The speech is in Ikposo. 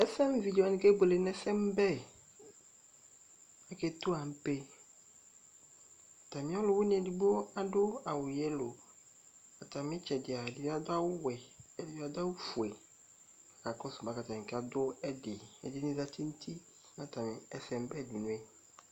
Ɛsɛmʋ vidze wanɩ kebuele nʋ ɛsɛmʋ bɛ Ake tu anpe; ɔlʋ wɩnɩ edigbo adʋ awʋ vɛ nuti, atamɩtsɛdɩ, ɔlɔ dɩ bɩ adʋ awʋ wɛ, ɛdɩ adʋ awʋ fue